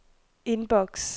inbox